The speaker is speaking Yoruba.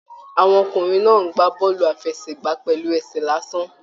Àwọn ọkùnrin náà n gbà bọọlu àfẹ́sẹ̀gbà pẹlú ẹsẹ lásán.